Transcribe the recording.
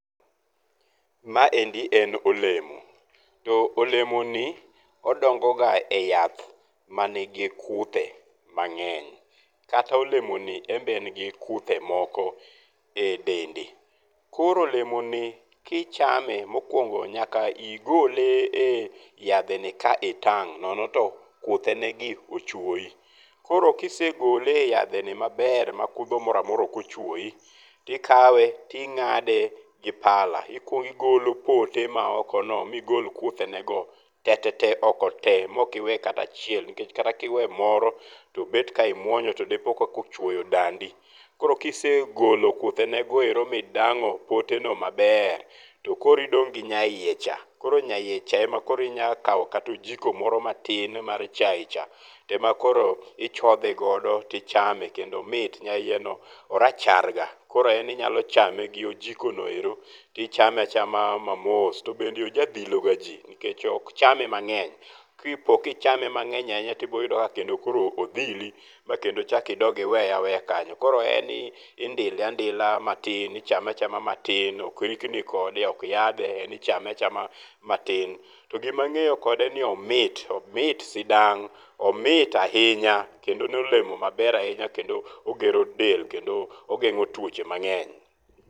Maendi en olemo to olemo ni odongo ga e yath manigi kuthe mangeny kata olemoni en be en gi kuthe moko e dende, koro olemoni kichame mokuongo nyaka igole e yadhe ni ka itang nono to kuthe negi ochuoyi. Koro kisegole e yadhe ni maber ma kudho moro amora ok ochuoyi tikawe tingade gi pala ikuong igolo pote maoko no migol kuthe ne go te tete oko tee maok iwe kata achiel nikech kata kiweyo moro tobet ka imuony tobet ka ochuoyo dandi, koro kisegolo kuthene go ero ma idango pote no maber tokoro idong gi nyaiye cha, koro nyaiye cha ema koro inyalo kao kata ojiko moro matin mar chai cha to ema koro ichodhe godo tichame kendo omit, nyaiye no orachar ga koro en inyalo chame gi ojiko no ero to ichame achama ma mos tobende oja dhiloga jii nikech ok cham emangeny ,kipo kichame mangeny ahinya tiyudo ka bende odhili maponi ichalk iweya aweya kanyo koro en indile andila matin, ichame achama matin ok rikni kode ok yadhe, en ichame achama matin, togima angeyo kode en ni omit ,omit sidang, omit ahinya kendo en olemo maber ahinya kendo ogero del kendo ogengo tuoche mangeny